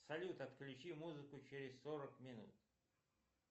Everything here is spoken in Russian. салют отключи музыку через сорок минут